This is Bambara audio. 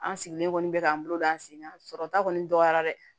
An sigilen kɔni bɛ k'an bolo don an sen kan sɔrɔta kɔni dɔgɔyara dɛ